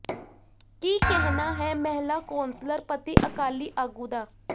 ਕੀ ਕਹਿਣਾ ਹੈ ਮਹਿਲਾ ਕੌਂਸਲਰ ਪਤੀ ਅਕਾਲੀ ਆਗੂ ਦਾ